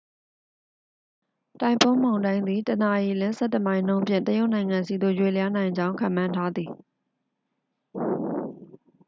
တိုင်ဖွန်းမုန်တိုင်းသည် တစ်နာရီလျှင် ဆယ့်တစ်မိုင်နှုန်းဖြင့် တရုတ်နိုင်ငံဆီသို့ ရွေ့လျားနိုင်ကြောင်း ခန့်မှန်းထားသည်